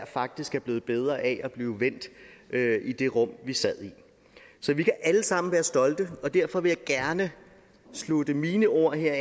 faktisk er blevet bedre af at blive vendt i det rum vi sad i så vi kan alle sammen være stolte og derfor vil jeg gerne afslutte mine ord her